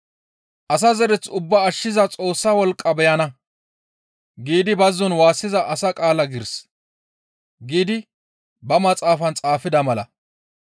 Asa zereth ubbaa ashshiza Xoossa wolqqa beyana› giidi bazzon waassiza asa qaala giiris» giidi ba maxaafan xaafida mala.